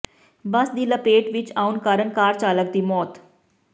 ਬੱਸ ਦੀ ਲਪੇਟ ਵਿੱਚ ਆਉਣ ਕਾਰਨ ਕਾਰ ਚਾਲਕ ਦੀ ਮੌਤ